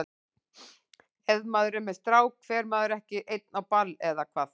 Ef maður er með strák fer maður ekki einn á ball, eða hvað?